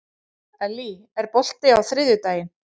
Ellý, er bolti á þriðjudaginn?